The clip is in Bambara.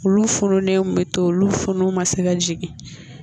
Olu fununen bɛ to olu funu ma se ka jigin